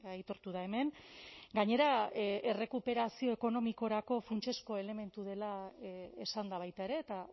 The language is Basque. aitortu da hemen gainera errekuperazio ekonomikorako funtsezko elementu dela esan da baita ere eta